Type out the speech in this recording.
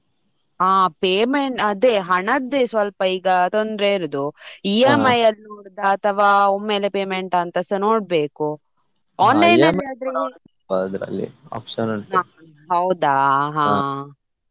ಹಾ payment ಅದೇ ಹಣದ್ದೆ ಈಗ ಸ್ವಲ್ಪ ತೊಂದ್ರೆ ಇರುದು EMI ಅಲ್ಲಿ ನೋಡುದಾ ಅಥವಾ ಒಮ್ಮೆಲೇ payment ಅಂತಸ ನೋಡ್ಬೇಕು online ಅಲ್ಲಿ ಏನಾದ್ರು ಹೌದಾ ಹಾ.